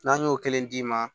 N'an y'o kelen d'i ma